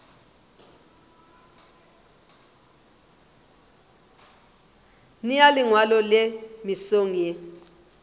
nea lengwalo le mesong ye